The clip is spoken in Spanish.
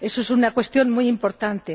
Eso es una cuestión muy importante.